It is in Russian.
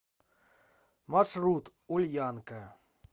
маршрут ульянка